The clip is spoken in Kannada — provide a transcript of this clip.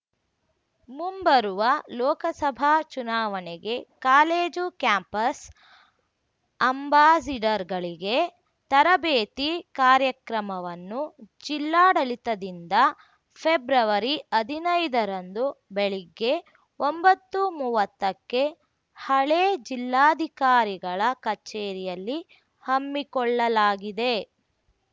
ಮುಂಬರುವ ಲೋಕಸಭಾ ಚುನಾವಣೆಗೆ ಕಾಲೇಜು ಕ್ಯಾಂಪಸ್‌ ಅಂಬಾಸಿಡರ್‌ಗಳಿಗೆ ತರಬೇತಿ ಕಾರ್ಯಕ್ರಮವನ್ನು ಜಿಲ್ಲಾಡಳಿತದಿಂದ ಫೆಬ್ರವರಿಹದಿನೈದರಂದು ಬೆಳಗ್ಗೆ ಒಂಬತ್ತುಮೂವತ್ತಕ್ಕೆ ಹಳೆ ಜಿಲ್ಲಾಧಿಕಾರಿಗಳ ಕಚೇರಿಯಲ್ಲಿ ಹಮ್ಮಿಕೊಳ್ಳಲಾಗಿದೆ